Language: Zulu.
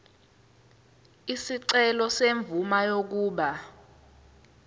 isicelo semvume yokuba